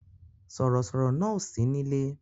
Sọ̀rọ̀ sọ̀rọ̀ náà ò sí nílé